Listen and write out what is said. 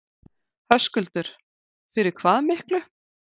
Höskuldur: Fyrir hvað miklu?